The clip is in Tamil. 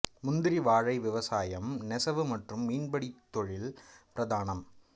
முந்திரி வாழை விவசாயம் நெசவு மற்றும் மீன்பிடி தொழில் பிரதானம்